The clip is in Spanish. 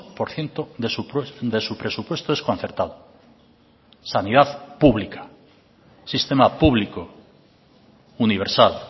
por ciento de su presupuesto es concertado sanidad pública sistema público universal